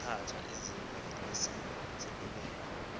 yaphatha izembe ngesasekunene